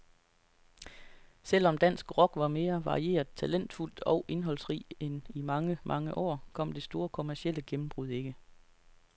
Selv om dansk rock var mere varieret, talentfuld og indholdsrig end i mange, mange år, kom det store kommercielle gennembrud ikke.